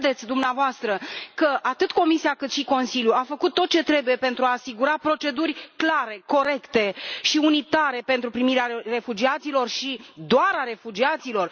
Credeți dumneavoastră că atât Comisia, cât și Consiliul au făcut tot ce trebuie pentru a asigura proceduri clare, corecte și unitare pentru primirea refugiaților și doar a refugiaților?